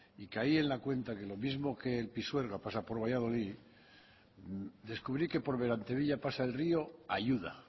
y caí en la cuenta que lo mismo que el pisuerga pasa por valladolid descubrí que por berantevilla pasa le rio ayuda